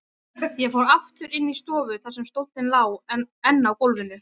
Ég fór aftur inn í stofu þar sem stóllinn lá enn á gólfinu.